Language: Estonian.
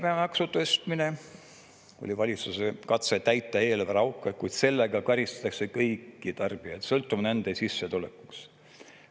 Käibemaksu tõstmine oli valitsuse katse täita eelarveauke, kuid sellega karistatakse kõiki tarbijaid sõltumata nende sissetulekust.